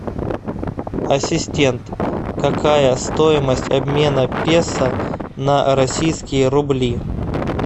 ассистент какая стоимость обмена песо на российские рубли